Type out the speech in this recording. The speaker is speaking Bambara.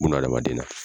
Bunahadamaden na